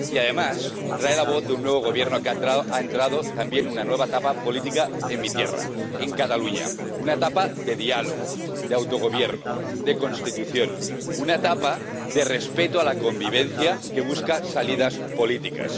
Y, además, trae la voz de un nuevo Gobierno que ha entrado también en una nueva etapa política en mi tierra, en Cataluña una etapa de diálogo, de autogobierno, de Constitución, una etapa de respeto a la convivencia, que busca salidas políticas.